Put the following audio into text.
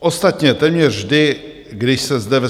Ostatně téměř vždy, když se zde ve